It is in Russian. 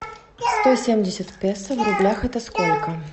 сто семьдесят песо в рублях это сколько